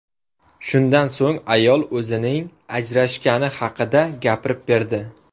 Shundan so‘ng ayol o‘zining ajrashgani haqida gapirib berdi.